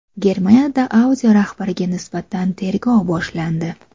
Germaniyada Audi rahbariga nisbatan tergov boshlandi.